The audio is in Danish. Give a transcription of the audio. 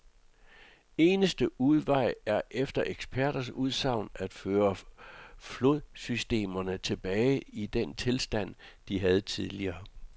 Eneste udvej er efter eksperters udsagn at føre flodsystemerne tilbage til den tilstand, de havde tidligere.